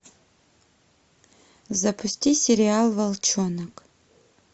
запусти сериал волчонок